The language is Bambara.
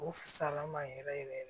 O fisayala n ma yɛrɛ yɛrɛ yɛrɛ